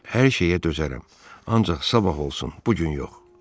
Hər şeyə dözərəm, ancaq sabah olsun, bu gün yox.